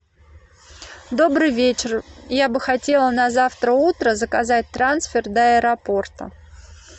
добрый вечер я бы хотела на завтра утро заказать трансфер до аэропорта